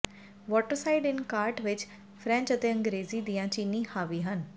Waterside inn ਵਿਚ ਕਾਰਟ ਵਿਚ ਫ੍ਰੈਂਚ ਅਤੇ ਅੰਗ੍ਰੇਜ਼ੀ ਦੀਆਂ ਚੀਨੀਆਂ ਹਾਵੀ ਹਨ